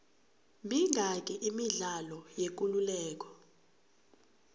mingaki imidlalo yekuleleko